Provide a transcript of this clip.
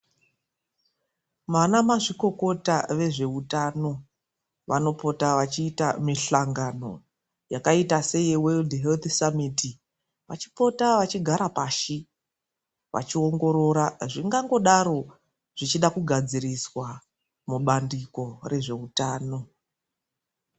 Vana mazvikokota vezvehutano vanopota vachiita mihlangano ,vachipota vachigara pashi vachiongorora zvingangodaro zvichida kugadziriswa mubandiko rezveutano.